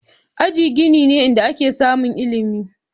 Aji gini ne inda ake samun ilimi.